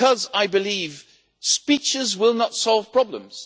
I believe speeches will not solve problems